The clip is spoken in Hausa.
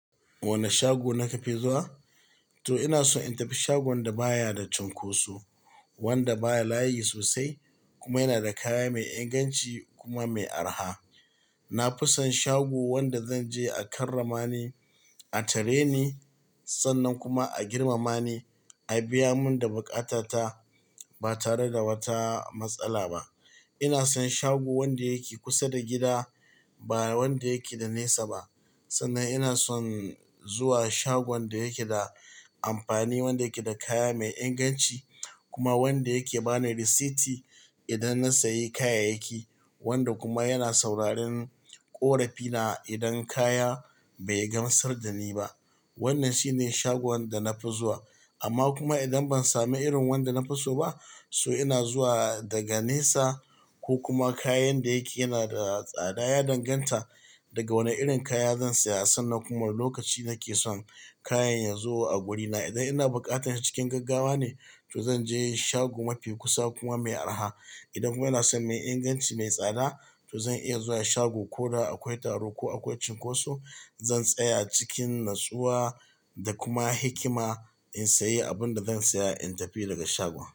Wane shago ne ka ke zuwa? To ina son in tafi shagon da baya da cunkoso, wanda baya layi sosai kuma yana da kaya mai inganci kuma mai arha. Na fi son shago wanda zan je a karramani, a tare ni sannan kuma a girmama ni, a biya mun da bukatata ba tare da wata matsala ba. Ina son shago wanda yake kusa da gida, ba wanda yake da nesa ba. Sannan ina son zuwa shagon da yake da amfani, wanda yake da kaya mai inganci kuma wanda yake ba ni risiti idan na sayi kayayyaki, wanda kuma yana sauraron ƙorafina idan kaya bai gamsar dani ba. Wannan shine shagon da na fi zuwa. Amma kuma idan ban sami irin wanda na fi so ba, so ina zuwa daga nesa ko kuma kayan da yake yana da tsada ya danganta daga wane irin kaya zan saya sannan kuma lokaci nake son kayan ya zo a wurina. Idan ina buƙatar shi cikin gaggawa ne, to zan je shago mafi kusa kuma mai arha. Idan kuma ina son mai inganci mai tsada, to zan iya zuwa shago ko da akwai taro ko akwai cunkoso. Zan tsaya cikin natsuwa da kuma hikima in sayi abin da zan saya in tafi daga shagon.